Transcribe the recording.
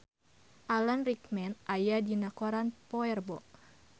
Alan Rickman aya dina koran poe Rebo